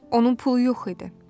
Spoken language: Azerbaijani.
Onun pulu yox idi.